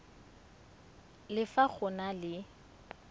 le fa go na le